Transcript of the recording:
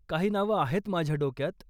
काही नावं आहेत माझ्या डोक्यात.